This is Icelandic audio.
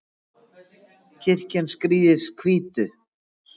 kirkjan skrýðist hvítu